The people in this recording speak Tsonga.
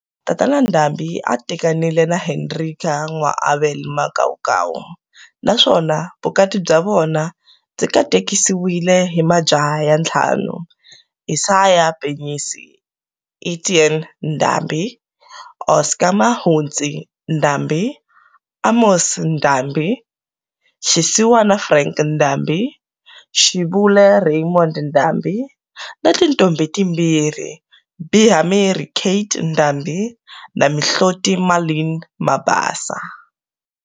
Tatana Ndhambi a a tekanile na Hendrika N'wa Abel Makaukau, naswona Vukati bya vona byi katekisiwile hi majaha ya ntlhanu-Isaiah Penyisi Etienne Ndhambi, Oscar Mahuntsi Ndhambi, Amos Ndhambi, Shisiwana Frank Ndhambi, Shibule Raymond Ndhambi na tintombhi timbirhi-Bihamhirhi Kate Ndhambi na Mihloti Marlene Mabasa.